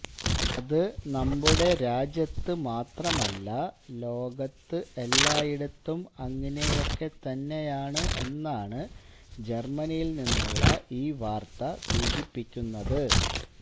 അത് നമ്മുടെ രാജ്യത്ത് മാത്രമല്ല ലോകത്ത് എല്ലായിടത്തും അങ്ങനെയൊക്കെ തന്നെയാണ് എന്നാണ് ജെര്മനിയില് നിന്നുള്ള ഈ വാര്ത്ത സൂചിപ്പിക്കുന്നത്